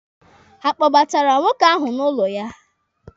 Ha akpọbara nwoke ahụ n'ụlọ ya?